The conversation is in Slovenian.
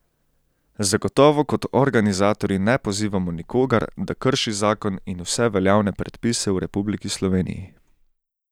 Zagotovo kot organizatorji ne pozivamo nikogar, da krši zakon in vse veljavne predpise v Republiki Sloveniji.